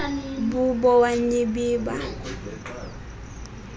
bubo wa nyibiba